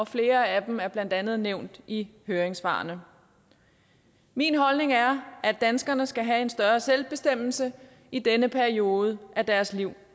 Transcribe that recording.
flere af dem er blandt andet nævnt i høringssvarene min holdning er at danskerne skal have en større selvbestemmelse i denne periode af deres liv